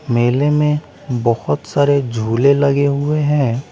मेले में बहुत सारे झूले लगे हुए हैं।